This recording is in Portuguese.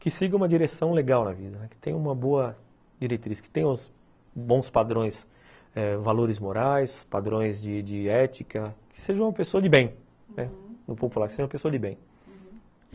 que siga uma direção legal na vida, que tenha uma boa diretriz, que tenha os bons padrões, eh valores morais, padrões de ética, que seja uma pessoa de bem, uhum, no popular, que seja uma pessoa de bem, uhum.